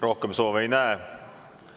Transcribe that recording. Rohkem soove ei näe.